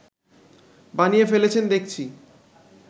বানিয়ে ফেলেছেন দেখছি